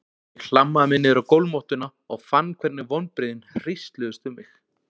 Ég hlammaði mér niður á gólfmottuna og fann hvernig vonbrigðin hrísluðust um mig.